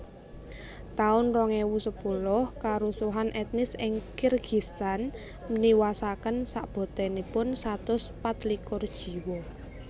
taun rong ewu sepuluh Karusuhan etnis ing Kirgistan niwasaken sakbotenipun satus pat likur jiwa